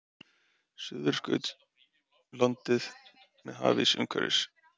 Suðurskautslandið með hafís umhverfis.